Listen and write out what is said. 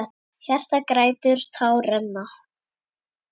Hjartað grætur, tár renna.